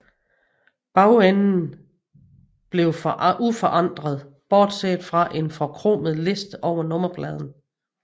Bagenden forblev uforandret bortset fra en forkromet liste over nummerpladen